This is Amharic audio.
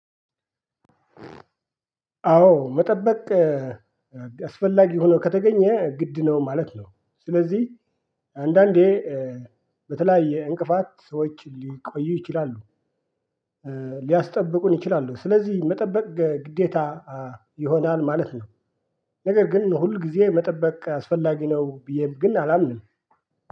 አዎ መጠበቅ አስፈላጊ ሆኖ ከተገኘ ግድ ነው ማለት ነው። ስለዚህ አንዳንዴ በተለያየ እንቅፋት ሰዎች ሊቆዩ ይችላሉ ሊያስጠብቁን ይችላሉ። ስለዚህ መጠበቅ ግዴታ ይሆናል ማለት ነው። ነገር ግን ሁል ጊዜ መጠበቅ አስፈላጊ ነው ብዬ ግን አላምንም